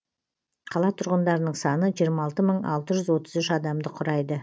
қала тұрғындарының саны жиырма алты мың алты жүз отыз үш адамды құрайды